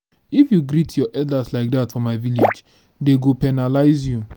if you greet your elder like dat for my village dey go penalize you